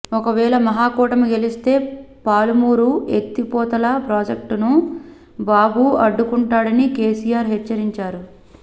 ఒకవేళ మహాకూటమి గెలిస్తే పాలమూరు ఎత్తిపోతల ప్రాజెక్టును బాబు అడ్డుకుంటాడని కెసిఆర్ హెచ్చరించారు